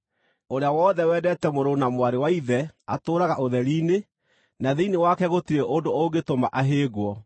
Ũrĩa wothe wendete mũrũ na mwarĩ wa ithe atũũraga ũtheri-inĩ, na thĩinĩ wake gũtirĩ ũndũ ũngĩtũma ahĩngwo.